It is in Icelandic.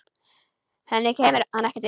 Henni kemur hann ekkert við.